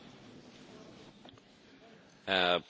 Herr Präsident, liebe Kolleginnen und Kollegen!